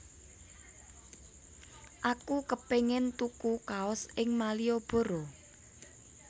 Aku kepingin tuku kaos ing Malioboro